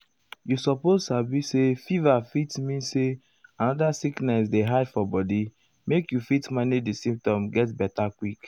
you suppose sabi say fever fit mean say another sickness dey hide for body make you fit manage di symptoms get beta quick.